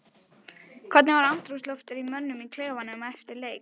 Hvernig var andrúmsloftið í mönnum í klefanum eftir leik?